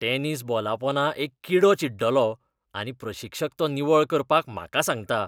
Tennis बॉलापोंदा एक किडो चिड्डलो आनी प्रशिक्षक तो निवळ करपाक म्हाका सांगता.